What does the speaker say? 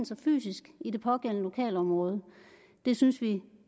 sig fysisk i det pågældende lokalområde det synes vi